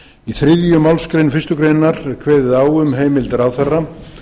í þriðju málsgrein fyrstu grein er kveðið á um heimild ráðherra